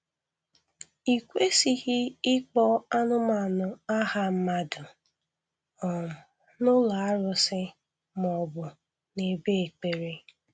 I kwesịghị ịkpọ anụmanụ aha mmadụ um n'ụlọ arụsị ma ọ bụ n'ebe ekpere.